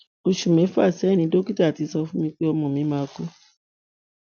oṣù mẹfà sẹyìn ni dókítà ti sọ fún mi pé ọmọ mi máa kú